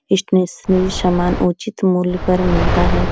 Stationery समान उचित मूल्य पर मिलता है।